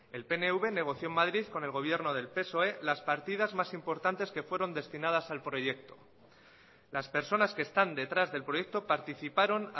el pnv negoció en madrid con el gobierno del psoe las partidas más importantes que fueron destinadas al proyecto las personas que están detrás del proyecto participaron